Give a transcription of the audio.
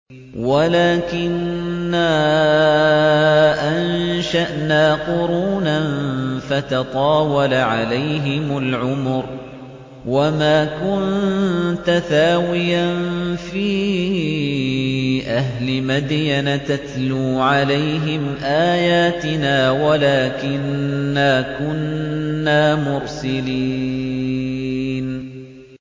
وَلَٰكِنَّا أَنشَأْنَا قُرُونًا فَتَطَاوَلَ عَلَيْهِمُ الْعُمُرُ ۚ وَمَا كُنتَ ثَاوِيًا فِي أَهْلِ مَدْيَنَ تَتْلُو عَلَيْهِمْ آيَاتِنَا وَلَٰكِنَّا كُنَّا مُرْسِلِينَ